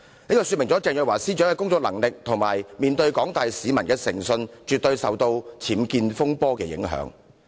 就是鄭若驊司長的工作能力及面對廣大市民的誠信，絕對受到了僭建風波的影響。